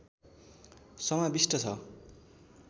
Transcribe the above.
समाविष्ट छ